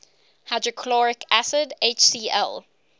hydrochloric acid hcl